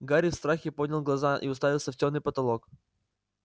гарри в страхе поднял глаза и уставился в тёмный потолок